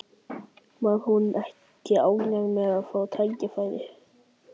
Var hún ekki ánægð með að fá tækifærið?